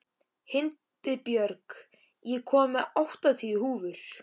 Hildibjörg, ég kom með áttatíu húfur!